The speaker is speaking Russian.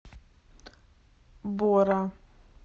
бора